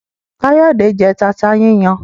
Kayode jé tata yíyan